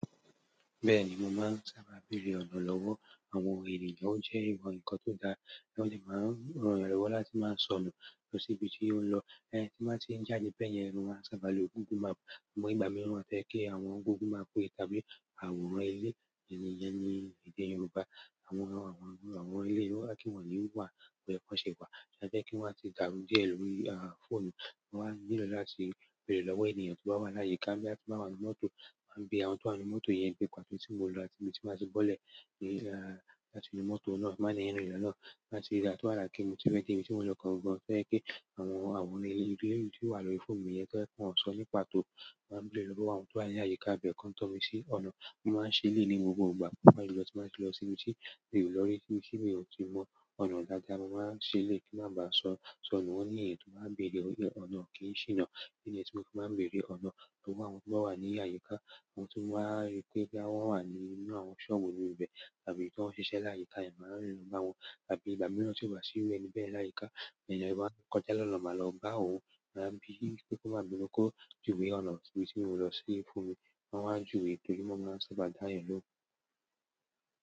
Bẹ́ẹ̀ni, mo máa ń sábà béèrè ọ̀nà lọ́wọ́ àwọn èeyàn náà. Ó jẹ́ ìmọ̀ nǹkan tó dáa. Wọ́n sì máa ń ran eeyan lowọ́ láti máa sọ̀nu lọ sí ibi tí ó ń lọ. Ẹni tọ́ bá ti ń jáde beyẹn, lọ maa n sábà lo google map. Amo ìgbà mi won maa fe ki àwọn google map ye kabi àwòrán ile i iyen ni èdè Yoruba. Àwọn àwọn iru àwọn eleyii o wa ki won ni wa bo ye ko n se wa e fẹ́ kí wọ́n atì dàrú díẹ̀ lórí, à, fóònù. Wọn á nílò láti béèrè lọ́wọ́ ènìyàn tó bá wà láyìíká boya pe won lo mọ́tò. Maá bí àwọn tó wa n nu mọ́tò yẹn pé pàtó tí mo lọ áti ibi tí màá ti bọ́lẹ̀. Pe a láti inú mọ́tò náà, bi máa le rin lọ́nà láti rí dá tó àrà kí ní to ye pé ibi tí mò n lọ kan gbọ́n fẹ́ kí àwọn àwòrán ilé ìlú tí ó wà lórí fóònù mi yẹn to won so ni pàtó mo wa n be gbogbo àwọn to wa ni àyíká be ko n to mi si ọ̀nà. Mi máa ń ṣe élèyií ni gbogbo ìgbà tí n bá ye lọ tí n ba ti lọ sí ibi tí mí o lọ́rí ibi tí mí o sì mọ ọ̀nà dáadáa. Mo máa ń ṣe elèyii kí n má ba so sọ̀nu wọ́n ní èèyàn tó bá ń bèèrè o ọ̀nà kí n ṣìnà. Idi nìyẹn tí mo fi maa ń bèèrè ọ̀nà lọ́wọ́ àwọn tó bá wà ní àyíká, àwọn ti n bá rí pé boya wọn wà nínú àwọn sọ́ọ̀bù inú ibẹ̀ tàbí tí wọ́n ń ṣiṣẹ́ láyìíká yen, máa rín bà wọn. Tàbí ìgbà mìíràn tí ó bá ṣí iru ẹni bẹ́yen láyìíká, èeyàn i ba ń kọjá lọ́nà máa lọ bá òun. Má bí i wípé kó mábinu kọ̀ juwé ọ̀nà tí ibi tí mò ń lọ sí fún mi. Wọ́n á ju ètò yi mo máa ń sábà dá eeyan lóhun.